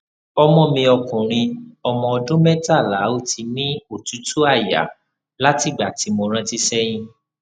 ọmọ mi ọkùnrin ọmọ ọdún mẹtàlá ó ti ní otutu aya látìgbà tí mo rántí seyin